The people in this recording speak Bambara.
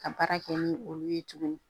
Ka baara kɛ ni olu ye tuguni